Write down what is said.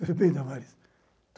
Tudo bem, Damares?